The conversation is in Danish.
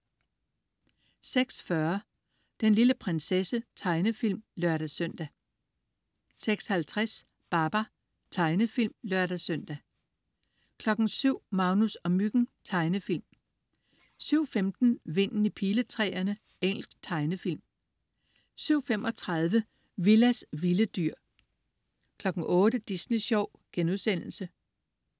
06.40 Den lille prinsesse. Tegnefilm (lør-søn) 06.50 Babar. Tegnefilm (lør-søn) 07.00 Magnus og Myggen. Tegnefilm 07.15 Vinden i piletræerne. Engelsk tegnefilm 07.35 Willas vilde dyr 08.00 Disney Sjov*